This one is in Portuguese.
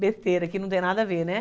Besteira, que não tem nada a ver, né?